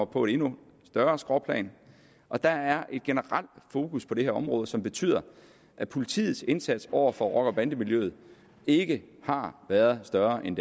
på et endnu større skråplan og der er et generelt fokus på det her område som betyder at politiets indsats over for rocker bande miljøet ikke har været større end